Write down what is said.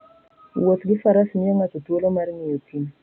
Wuoth gi faras miyo ng'ato thuolo mar ng'iyo thim.